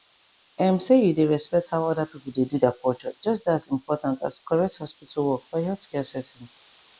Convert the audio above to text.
ehm say you dey respect how other people dey do their culture just dey as important as correct hospital work for healthcare settings